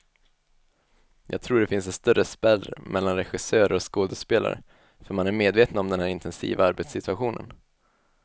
Jag tror det finns en större spärr mellan regissörer och skådespelare, för man är medvetna om den här intensiva arbetssituationen.